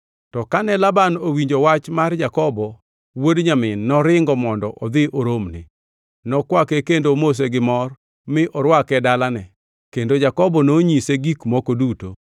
To kane Laban owinjo wach mar Jakobo, wuod nyamin noringo mondo odhi oromne. Nokwake kendo omose gimor mi orwake dalane kendo Jakobo nonyise gik moko duto.